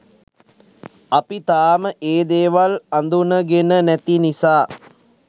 අපි තාම ඒ දේවල් අඳුනගෙන නැති නිසා